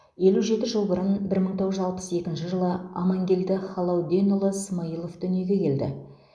елу жеті жыл бұрын бір мың тоғыз жүз алпыс екінші жылы амангелді халауденұлы смаилов дүниеге келді